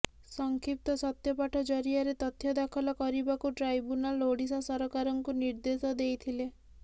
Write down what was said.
ସଂକ୍ଷିପ୍ତ ସତ୍ୟପାଠ ଜରିଆରେ ତଥ୍ୟ ଦାଖଲ କରିବାକୁ ଟ୍ରାଇବୁନାଲ ଓଡ଼ିଶା ସରକାରଙ୍କୁ ନିର୍ଦେଶ ଦେଇଥିଲେ